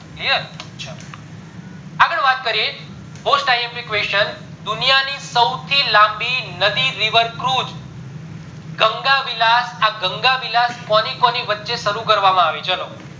clear ચાલો આગળ વાત કરીએ most imp question દુનિયા ની સૌથી લાંબી નદી cruise ગંગા વિલાસ આ ગંગા વિલાસ કોની કોની વચે શરુ કરવામાં આવી ચલો